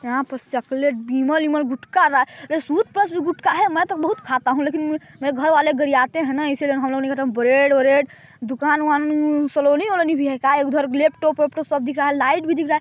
यहाँ पर चॉकलेट बिमल- उमल गुटका टूथ -सूत प्लस भी गुटका है मैं तो बहोत खाता हूँ लेकिन मेरे घर वाले गरियाते है ना इसीलिए ब्रेड -म्रेड दुकान -मुकान कालोनी - मालोनी भी है का क्या उधर लैपटॉप मेपटाॅप सब दिख रहा है लाइट भी दिख रहा हैं।